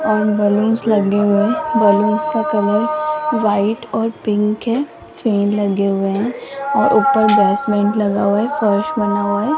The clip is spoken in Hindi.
और बलूंस लगे हुए हैं बलूंस का कलर व्हाइट और पिंक है फैन लगे हुए हैं और ऊपर बेसमेंट लगा हुआ है फर्श बना हुआ है।